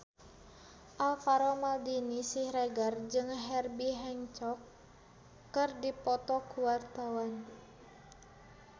Alvaro Maldini Siregar jeung Herbie Hancock keur dipoto ku wartawan